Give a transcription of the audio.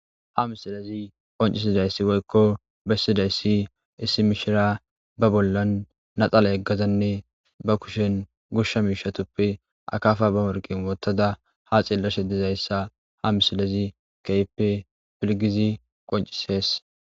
Ha misilezi qoncisidayssi woykko bessidayssi issi mishira ba bollan naxala yeggazanne ba kushen goshsha miishatuppe akaafa ba morqin wottada ha xillashe dizayssa ha misilezi keehippe pilgizi qoncises.